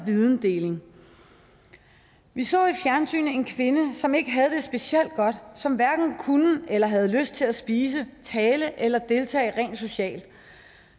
vidensdeling vi så i fjernsynet en kvinde som ikke havde det specielt godt som hverken kunne eller havde lyst til at spise tale eller deltage rent socialt